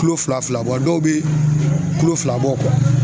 Kulo fila fila bɔ, a dɔw be kilo fila bɔ